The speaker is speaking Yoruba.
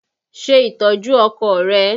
Ṣe ìtọ́jú ọkọ rẹ!